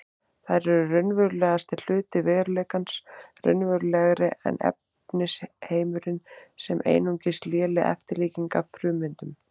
Þær eru raunverulegasti hluti veruleikans, raunverulegri en efnisheimurinn sem er einungis léleg eftirlíking af frummyndunum.